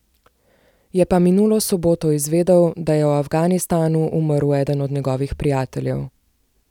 Je pa minulo soboto izvedel, da je v Afganistanu umrl eden od njegovih prijateljev.